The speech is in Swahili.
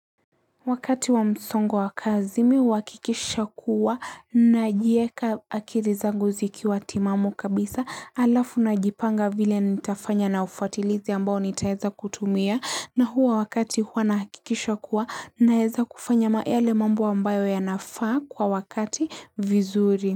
Wakati wa msongo wa wa kazi mi huakikisha kuwa najieka akili zangu zi kiwa timamu kabisa alafu na jipanga vile nitafanya na ufatilizi ambao nitaeza kutumia nahuwa wakati huwa nahakikisha kuwa naeza kufanya yale mambo ambayo ya nafaa kwa wakati vizuri.